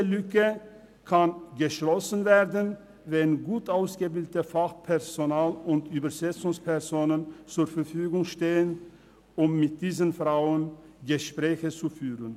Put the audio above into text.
Diese Lücke kann geschlossen werden, wenn gut ausgebildete Fachpersonen und Übersetzungsfachleute zur Verfügung stehen, um mit diesen Frauen Gespräche zu führen.